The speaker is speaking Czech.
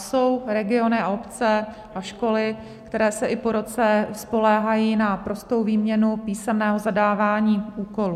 Jsou regiony a obce a školy, které se i po roce spoléhají na prostou výměnu písemného zadávání úkolů.